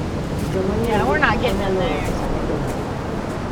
Joma ng'iewo gik moko nyalo oro pesa ne jomoko.